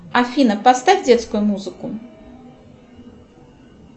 афина поставь детскую музыку